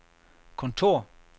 kontor